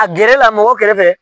A gɛrɛ la mɔgɔw kɛrɛfɛ.